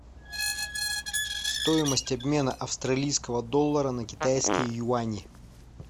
стоимость обмена австралийского доллара на китайские юани